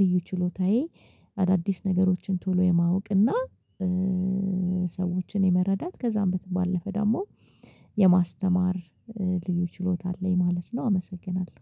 ልዩ ችሎታዬ አዳዲስ ነገሮችን ቶሎ የማወቅና ሰዎችን የመረዳት ከዛም በተባለፈ ደግሞ የማስተማር ልዩ ችሎታ አለኝ ማለት ነው። አመሰግናለሁ